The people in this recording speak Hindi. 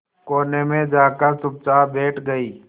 कोने में जाकर चुपचाप बैठ गई